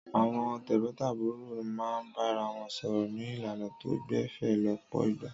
Àwọn tẹ̀gbọ́ntàbúrò máa ń bára wọn sọ̀rọ̀ ní ìlànà tó gbẹ̀fẹ̀ lọ́pọ̀ ìgbà.